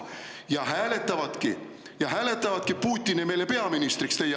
Ja nad hääletavadki, nad hääletavadki meile teie asemele peaministriks Putini.